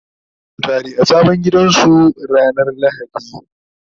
zasu tare a sabon gidan su ranar lahadi